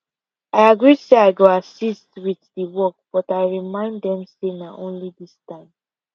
i agree say i go assist with the the work but i remind them say na only this time